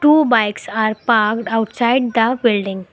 two bikes are parked outside the building.